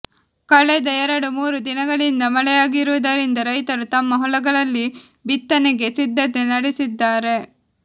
ಕಳೆದ ಎರಡು ಮೂರು ದಿನಗಳಿಂದ ಮಳೆಯಾಗಿರುವುದರಿಂದ ರೈತರು ತಮ್ಮ ಹೊಲಗಳಲ್ಲಿ ಬಿತ್ತನೆಗೆ ಸಿದ್ಧತೆ ನಡೆಸಿದ್ದಾರೆ